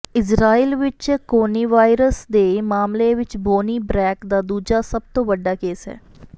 Israel ਵਿਚ coronavirus ਦੇ ਮਾਮਲੇ ਵਿਚ ਬੋਨੀ ਬ੍ਰੈਕ ਦਾ ਦੂਜਾ ਸਭ ਤੋਂ ਵੱਡਾ ਕੇਸ ਹੈ